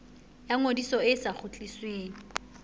ya ngodiso e sa kgutlisweng